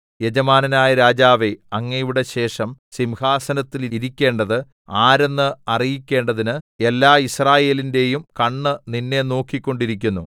യജമാനനായ രാജാവേ അങ്ങയുടെ ശേഷം സിംഹാസനത്തിൽ ഇരിക്കേണ്ടത് ആരെന്ന് അറിയിക്കേണ്ടതിന് എല്ലാ യിസ്രായേലിന്റെയും കണ്ണ് നിന്നെ നോക്കിക്കൊണ്ടിരിക്കുന്നു